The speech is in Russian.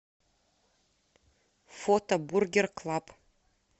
фото бургер клаб